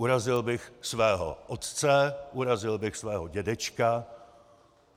Urazil bych svého otce, urazil bych svého dědečka.